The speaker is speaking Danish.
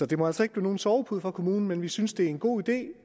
det må altså ikke blive nogen sovepude for kommunerne men vi synes det er en god idé